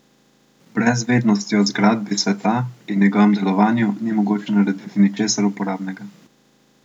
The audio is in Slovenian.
Brez vednosti o zgradbi sveta in njegovem delovanju ni mogoče narediti ničesar uporabnega.